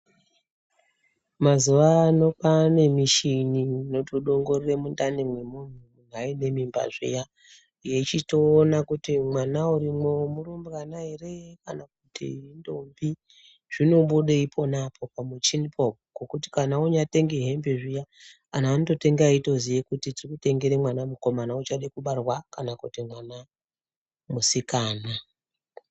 Mazuwa ano kwaane mishini inotodongorera mundani mwemunthu kana aine mimba zviya. Yechitoona kuti mwana urimwo, murumbwana ere kana kuti indombi. Zvinobuda ipona apapo pamuchinipo. Zvekuti anthu oonyatenga hembe zviya anonga eitoziya kuti tiri kutengera mwana mukomana uchadekubarwa kana kuti musikana.